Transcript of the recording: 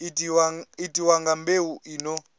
itiwa nga mbeu i no